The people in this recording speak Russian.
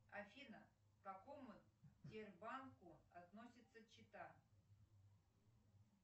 афина к какому сбербанку относится чита